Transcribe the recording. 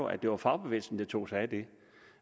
at det var fagbevægelsen der tog sig af det